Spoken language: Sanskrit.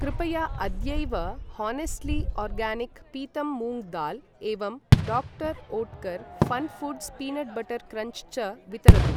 कृपया अद्यैव होनेस्ट्ली आर्गानिक् पीतं मूङ्ग् दाल् एवं doctor Oetker fun foods peanut butter crunch च वितरतु।